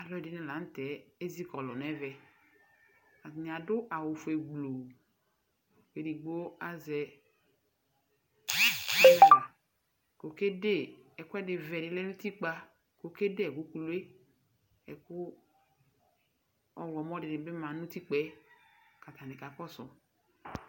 Alʋɛdɩnɩ la n'tɛ ezikɔlʋ n'ɛvɛ, atanɩ adʋ awʋ fue gbluu, edigbo azɛ k'okede ɛkʋɛdɩ vɛ dɩ lɛ n'utikpa, okede ɛkʋ kuku yɛ, ɛkʋ ɔɣlɔmɔ dɩnɩ bɩ ma n'utikpa yɛ k'atanɩ kakɔsʋ